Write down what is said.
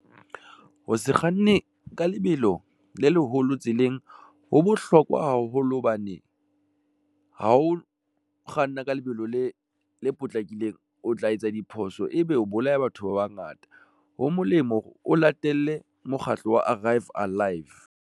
Ho se kganne ka lebelo le leholo tseleng. Ho bohlokwa haholo hobane ha o kganna ka lebelo le potlakileng, o tla etsa diphoso ebe o bolaya batho ba bangata. Ho molemo hore o latele mokgatlo wa Arrive Alive.